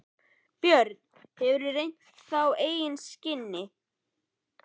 Björn: Hefurðu reynt þá á eigin skinni?